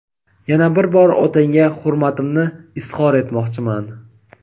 Yana bir bor otangga hurmatimni izhor etmoqchiman.